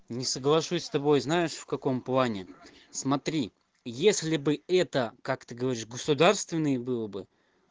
не соглашусь с тобой знаешь в каком плане смотри если бы это как ты говоришь государственный было бы